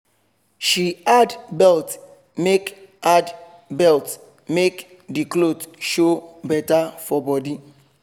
she add belt make add belt make the cloth show better for body